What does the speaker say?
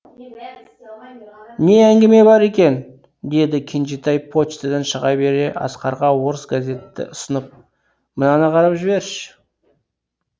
не әңгіме бар екен деді кенжетай почтадан шыға бере асқарға орыс газетті ұсынып мынаны қарап жіберші